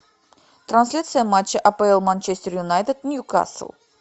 трансляция матча апл манчестер юнайтед нью кастл